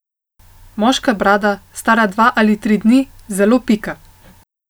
Moška brada, stara dva ali tri dni, zelo pika.